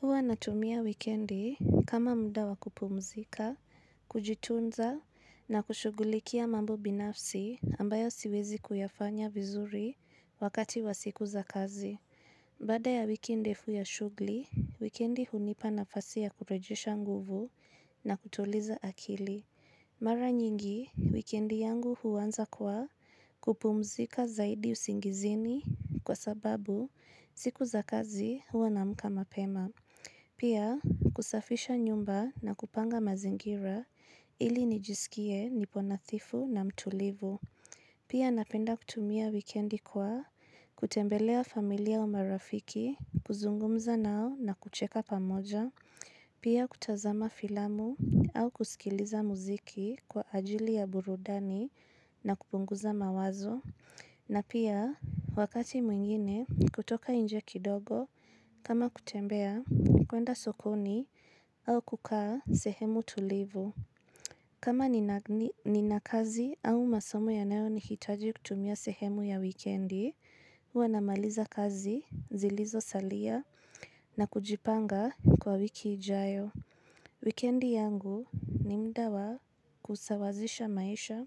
Huwa natumia wikendi kama muda wa kupumzika, kujitunza na kushugulikia mambo binafsi ambayo siwezi kuyafanya vizuri wakati wa siku za kazi. Baada ya wiki ndefu ya shughuli, wikendi hunipa nafasi ya kurejesha nguvu na kutuliza akili. Mara nyingi, wikendi yangu huanza kwa kupumzika zaidi usingizini kwa sababu siku za kazi huwa naamka mapema. Pia, kusafisha nyumba na kupanga mazingira ili nijisikie nipo nathifu na mtulivu. Pia napenda kutumia wikendi kwa kutembelea familia au marafiki, kuzungumza nao na kucheka pamoja. Pia kutazama filamu au kusikiliza muziki kwa ajili ya burudani na kupunguza mawazo. Na pia wakati mwingine kutoka nje kidogo kama kutembea, kuenda sokoni au kukaa sehemu tulivu. Kama nina kazi au masomo yanayo nihitaji kutumia sehemu ya wikendi, huwa namaliza kazi zilizo salia na kujipanga kwa wiki ijayo. Wikendi yangu ni muda wa kusawazisha maisha,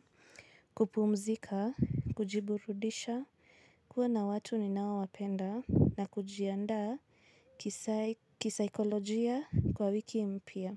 kupumzika, kujiburudisha, kuwa na watu ninaowapenda na kujiandaa kisaikolojia kwa wiki mpya.